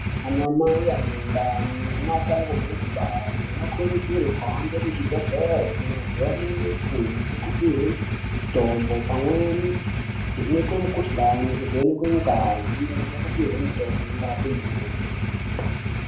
Ana mai ane ndani neachangobve kugare anokurudzirwa kuhambe kuzvibhedhleri kunovhenekwe nekupiwe mutombo pamweni kuvhenekwe mikhuhlane kuvhenekwe ngazi nekupiwe mutombo unorape ndumurwa.